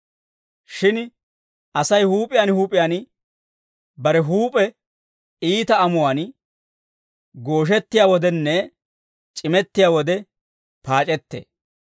Shin Asay huup'iyaan huup'iyaan bare huup'e iita amuwaan gooshettiyaa wodenne c'imettiyaa wode paac'ettee.